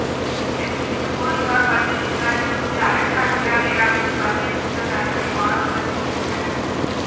இது குறித்து போலீசார் பள்ளியில் விசாரித்த போது அலெக்சாண்டிரியா வேரா மீது பல்வேறு குற்றச்சாட்டுகளை மாணவர்கள் தெரிவித்துள்ளனர்